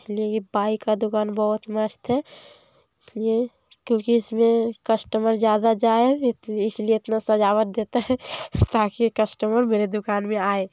इसलिए बाइक दुकान बहोत मस्त है इसलिए क्योकि इसमें कस्टमर ज्यादा जाये इसलिए इतना सजावट देते है ताकि कस्टमर मेरे दुकान में आये।